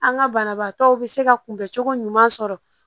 An ka banabaatɔw bɛ se ka kunbɛncogo ɲuman sɔrɔ